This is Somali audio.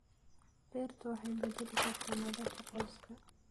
Beertu waxay bedeli kartaa nolosha qoyska.